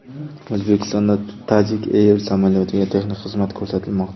O‘zbekistonda Tajik Air samolyotiga texnik xizmat ko‘rsatilmoqda.